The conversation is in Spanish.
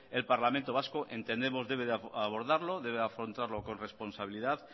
el parlamento vasco entendemos debe abordarlo debe afrontarlo con responsabilidad